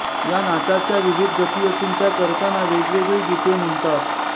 या नाचाच्या विविध गती असून त्या करताना वेगवेगळी गीते म्हणतात